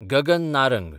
Gagan Narang